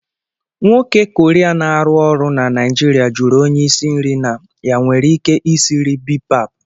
Nwoke Korea na-arụ ọrụ na Naijiria jụrụ onye isi nri na ya nwere ike isiri bipap.